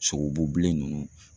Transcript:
Sogobu bilen nunnu.